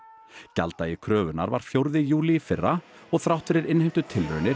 gjalddagi kröfunnar var fjórði júlí í fyrra og þrátt fyrir